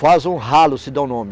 Faz um ralo, se dá o nome.